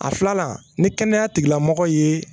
A filanan ni kɛnɛya tigilamɔgɔ ye